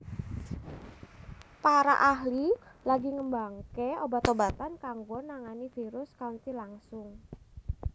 Para ahli lagi ngembangake obat obatan kanggo nangani virus kanthi langsung